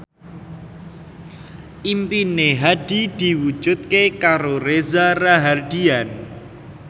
impine Hadi diwujudke karo Reza Rahardian